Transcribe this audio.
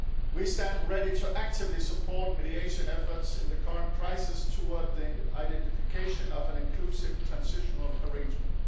We stand ready to actively support mediation efforts in the current crisis towards the identification of an inclusive transitional arrangement.